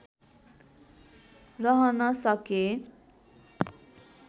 रहन सके